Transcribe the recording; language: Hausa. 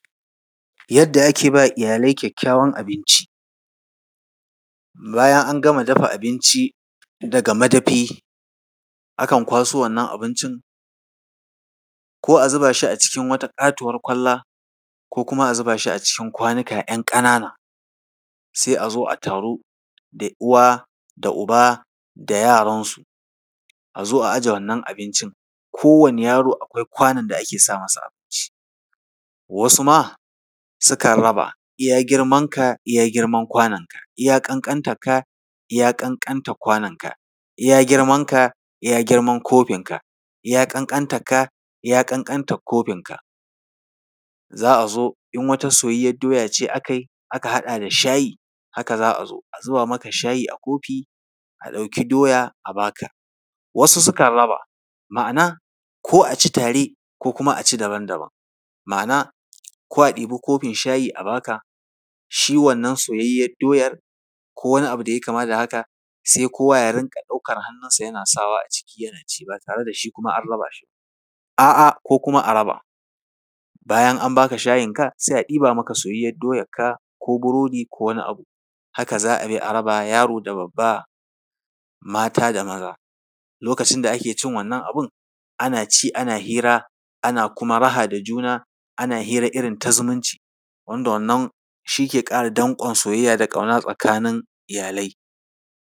Yadda ake ba iyalai kyakkyawan abinci. Bayan an gama dafa abinci daga madafi, akan kwaso wannan abincin. Ko a zuba shi a cikin wata ƙatuwar kwalla, ko kuma a zuba shi a cikin kwanuka ‘yan ƙanana. Sai a zo a taru da uwa da uba yaransu, a zo a aje wannan abincin. Kowane yaro akwai kwanon da ake sa masa abincin, wasu ma sukan raba, iya girmanka, iya girman kwanonka, iya ƙanƙantarka, iya ƙanƙantar kwanonka, iya girrmanka, iya girman kofinka, iya ƙanƙantarka, iya ƙanƙantar kofinka. Za a zo, in wata soyayyiyar doya ce aka yi, aka haɗa da shayi, haka za azo a zuba maka shayi a kofi, a ɗauki doya a ba ka. Wasu sukan raba, ma’ana, ko a ci tare, ko kuma a ci daban daban, ma’ana, ko a ɗauki kofin shayi a ba ka, shi wannan soyayyiyar doyar ko wani abu da ya yi kama da haka, sai kowa ya rinƙa ɗaukar hannunsa yana sawa a ciki, yana ci ba tare da shi kuma an raba shi ba. A’a, ko kuma a raba. Bayan an ba ka shayinka, sai a ɗiba soyayyiyar doyarka ko burodi ko wani abu. Haka za a bi a raba, yaro da babba, mata da maza. Lokacin da ake cin wannan abin, ana ci, ana hira, ana kuma raha da juna, ana hira irin ta zumunci, wanda wannan shi ke ƙara danƙon soyayya da ƙauna tsakanin iyalai.